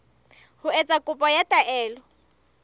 ho etsa kopo ya taelo